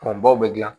baw bɛ dilan